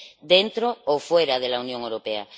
Dentro o fuera de la Unión Europea.